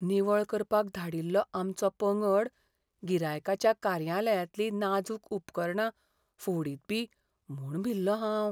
निवळ करपाक धाडिल्लो आमचो पंगड गिरायकाच्या कार्यालयांतलीं नाजूक उपकरणां फोडीतबी म्हूण भिल्लों हांव.